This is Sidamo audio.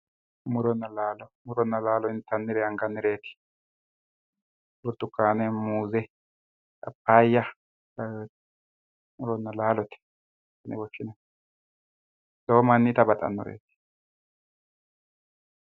Muronna laalo, muronna laalo intanninna angannireti burtukane, Muze, papaya muronna laalote lowo manni itta baxano